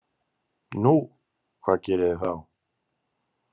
Nú, hvað gerið þið þá?